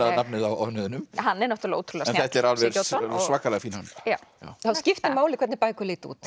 nafnið á hönnuðinum hann er ótrúlega snjall svakalega fín hönnun það skiptir máli hvernig bækur líta út